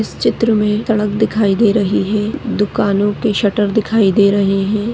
इस चित्र मे सड़क दिखाई दे रही है दुकानों के शटर दिखाई दे रहे है।